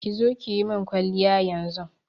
ƙi zo kiyimin kwaliya yanzun.